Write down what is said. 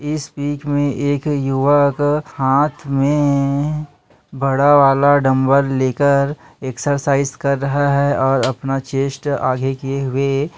इस पिक में ‌एक युवक का हाथ में पासुएबड़ा वाला डंबल लेकर एक्सरसाइज कर रहा है और अपना चेस्ट आगे किए हुए--